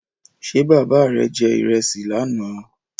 Ṣé bàbá rè je ìrẹsì lánà?